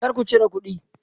Kar ku cire kudi!